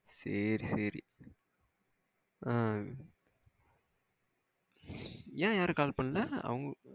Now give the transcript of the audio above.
சேரி சேரி அஹ என் யாரும் கால் பன்னால அவங்க